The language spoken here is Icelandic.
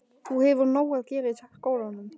Þú hefur nóg að gera í skólanum.